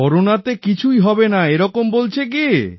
corona তে কিছুই হবে না এরকম বলছে কি